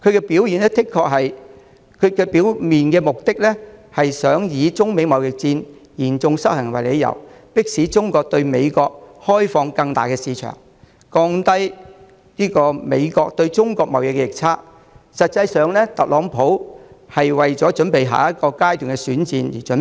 表面上，特朗普的目的是想以中美貿易嚴重失衡為理由，迫使中國對美國開放更大的市場，降低美國對中國貿易逆差，但實質上，他是為下一階段的選戰作準備。